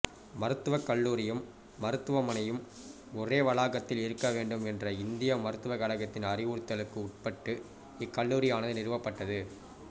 மருத்துவ கல்லூரியும் மருத்துவமனையும் ஒரே வளாகத்தில் இருக்கவேண்டும் என்ற இந்திய மருத்துவக் கழகத்தின் அறிவுறுத்தலுக்கு உட்பட்டு இக்கல்லூரியானது நிறுவப்பட்டது